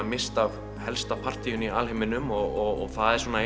misst af helsta partíinu í alheiminum og það er svona